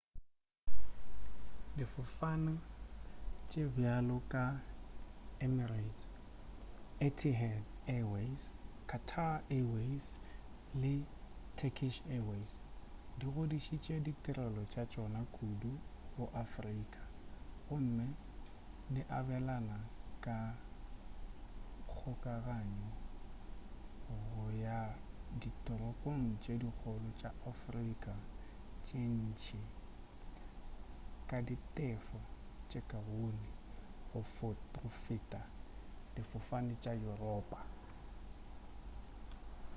difofane tše bjalo ka emirates etihad airways qatar airways & turkish airways di godišitše ditirelo tša tšona kudu go afrika gomme di abelana ka kgokaganyo go ya ditoropong tše dikgolo tša afrika tše ntši ka ditefelo tše kaone go feta difofane tša yuropa